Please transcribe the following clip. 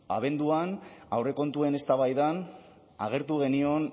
abenduan aurrekontuen eztabaidan agertu genion